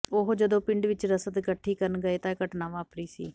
ਉਹ ਜਦੋਂ ਪਿੰਡ ਵਿੱਚ ਰਸਦ ਇਕੱਠੀ ਕਰਨ ਗਏ ਤਾਂ ਇਹ ਘਟਨਾ ਵਾਪਰੀ ਸੀ